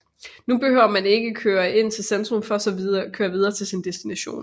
Nu behøver man ikke at køre ind til centrum for så at køre videre til sin destination